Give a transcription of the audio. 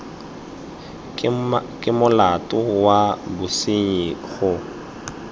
ke molato wa bosenyi go